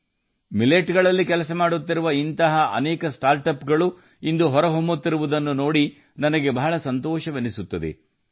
ಸಿರಿಧಾನ್ಯಗಳ ಕ್ಷೇತ್ರದಲ್ಲಿ ಕೆಲಸ ಮಾಡುತ್ತಿರುವ ಇಂತಹ ಅನೇಕ ಸ್ಟಾರ್ಟ್ಅಪ್ಗಳು ಇಂದು ಹೊರಹೊಮ್ಮುತ್ತಿರುವುದನ್ನು ನೋಡಿದರೆ ಸಂತೋಷವಾಗುತ್ತದೆ